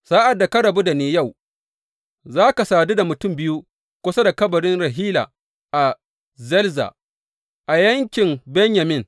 Sa’ad da ka rabu da ni yau, za ka sadu da mutum biyu kusa da kabarin Rahila a Zelza, a yankin Benyamin.